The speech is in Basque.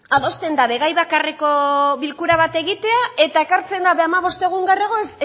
adosten da gai bakarreko bilkura bat egitea eta ekartzen da hamabost egun lehenago